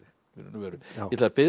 í raun og veru ég ætla að biðja